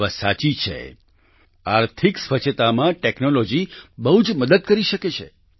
એ વાત સાચી છે આર્થિક સ્વચ્છતામાં ટેક્નોલોજી બહુ જ મદદ કરી શકે છે